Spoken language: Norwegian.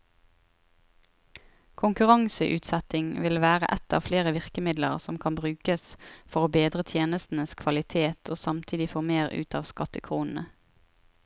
Konkurranseutsetting vil være ett av flere virkemidler som kan brukes for å bedre tjenestenes kvalitet og samtidig få mer ut av skattekronene.